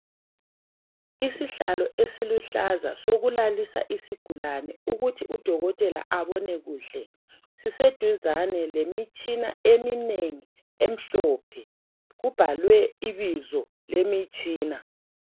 Isihlalo esiluhlaza sokulalisa isigulane ukuthi udokotolela abone kuhle, siseduzane lemitshina eminengi emhlophe kubhalwe ibizo lemitshina.